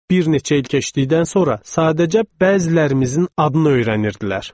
Bir neçə il keçdikdən sonra sadəcə bəzilərimizin adını öyrənirdilər.